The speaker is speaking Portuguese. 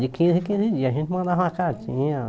De quinze em quinze dias, a gente mandava uma cartinha.